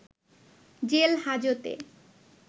jail হাজতে